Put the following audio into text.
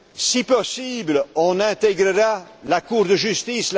Si possible, on intégrera la Cour de justice.